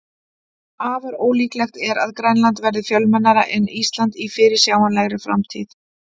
Afar ólíklegt er að Grænland verði fjölmennara en Ísland í fyrirsjáanlegri framtíð.